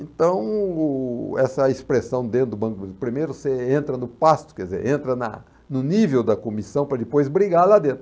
Então, o... essa expressão dentro do Banco do Brasil, primeiro você entra no pasto, quer dizer, entra na no nível da comissão para depois brigar lá dentro.